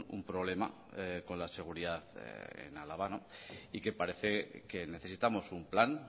un problema con la seguridad en álava y que parece que necesitamos un plan